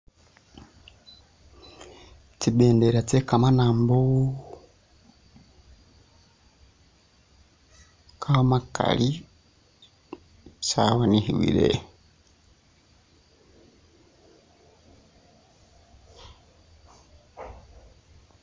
Tsi'bendela tse kamanambo kamakali tsabonekhebwele